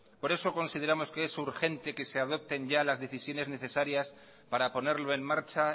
por eso consideramos que es urgente que se adopten ya las decisiones necesarias para ponerlo en marcha